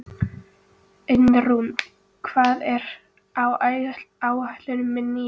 Einrún, hvað er á áætluninni minni í dag?